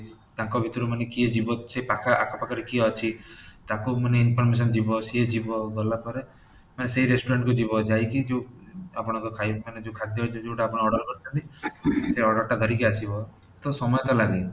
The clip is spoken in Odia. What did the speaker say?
ତାଙ୍କ ଭିତରୁ ମାନେ କିଏ ଯିବ ସେ ପାଖ ଆଖ ପାଖରେ କିଏ ଅଛି ତାକୁ ମାନେ information ଯିବ ସେ ଯିବ ଗଲା ପରେ ମାନେ ସେଇ restaurant କୁ ଯିବ ଯାଇ କି ଯୋଉ ଆପଣଙ୍କ ଖାଇ ଯୋଉ ଖାଦ୍ୟ ଯୋଉଟା ଆପଣ oder କରିଛନ୍ତି ସେଇ oder ଟା ଧରିକି ଆସିବ ତ ସମୟ ତ ଲାଗେ